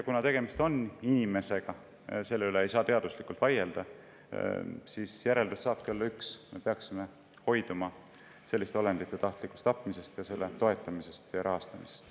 Kuna tegemist on inimesega – selle üle ei saa teaduslikult vaielda –, siis järeldus saabki olla üks: me peaksime hoiduma selliste olendite tahtlikust tapmisest, selle toetamisest ja rahastamisest.